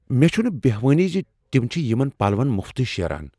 مےٚ چھنہٕ بہوانٕے ز تم چھ یمن پلون مفتٕے شیران۔